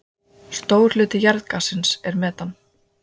Stór hluti jarðgassins er metan.